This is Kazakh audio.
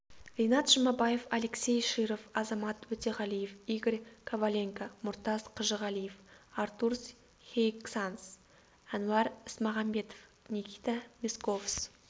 ринат жұмабаев алексей широв азамат өтеғалиев игорь коваленко мұртаз қажығалиев артурс хеиксанс әнуар ісмағамбетов никита месковс